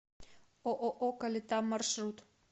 ооо калита маршрут